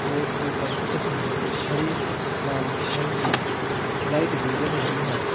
और ऊपर छत में कुछ हरे लाल रंग की लाइट भी जल रही है।